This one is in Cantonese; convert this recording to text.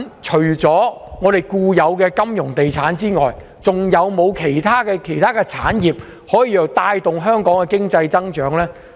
除了固有的金融業及地產業外，是否還有其他產業可以帶動香港的經濟增長？